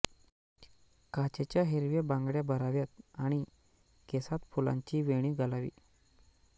काचेच्या हिरव्या बांगड्या भराव्यात आणि केसांत फुलांची वेणी घालावी